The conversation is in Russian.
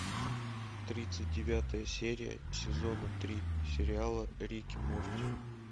тридцать девятая серия сезона три сериала рик и морти